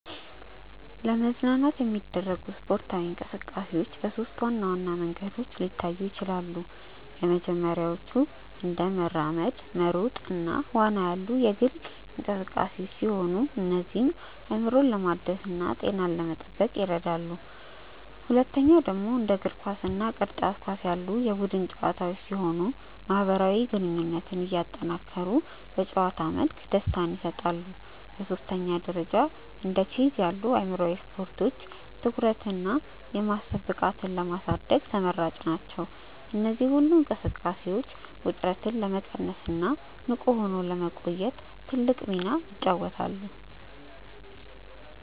ለመዝናናት የሚደረጉ ስፖርታዊ እንቅስቃሴዎች በሦስት ዋና ዋና መንገዶች ሊታዩ ይችላሉ። የመጀመሪያዎቹ እንደ መራመድ፣ መሮጥ እና ዋና ያሉ የግል እንቅስቃሴዎች ሲሆኑ እነዚህም አእምሮን ለማደስና ጤናን ለመጠበቅ ይረዳሉ። ሁለተኛው ደግሞ እንደ እግር ኳስ እና ቅርጫት ኳስ ያሉ የቡድን ጨዋታዎች ሲሆኑ ማህበራዊ ግንኙነትን እያጠናከሩ በጨዋታ መልክ ደስታን ይሰጣሉ። በሦስተኛ ደረጃ እንደ ቼዝ ያሉ አእምሯዊ ስፖርቶች ትኩረትንና የማሰብ ብቃትን ለማሳደግ ተመራጭ ናቸው። እነዚህ ሁሉ እንቅስቃሴዎች ውጥረትን ለመቀነስና ንቁ ሆኖ ለመቆየት ትልቅ ሚና ይጫወታሉ።